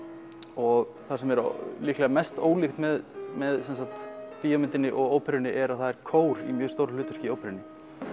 og það sem er líklega mest ólíkt með með bíómyndinni og óperunni er að það er kór í mjög stóru hlutverki í óperunni